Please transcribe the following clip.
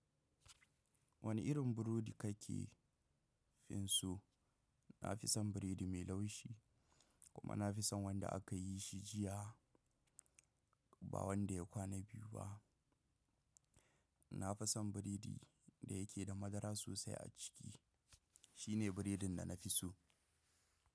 Wane irin burodi kake finso? Na fi son biredi mai laushi, kuma na fi son wanda aka yi shi jiya, ba wanda ya kwana biyu ba. Na fi son biredi da yake da madara sosai a ciki. Shi ne biredin da na fi so.